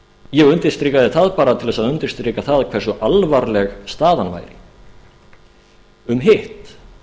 ég undirstrikaði það bara til þess að undirstrika það hversu alvarlega staðan væri um hitt